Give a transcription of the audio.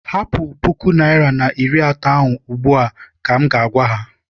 Hapụ puku naịra na iri atọ ahụ ugbu a! ka m ga- agwa ha.